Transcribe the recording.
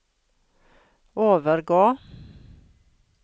overgå